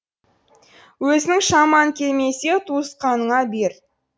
өзіңнің шамаң келмесе туысқаныңа бер